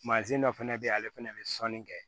dɔ fɛnɛ be yen ale fɛnɛ be sɔnni kɛ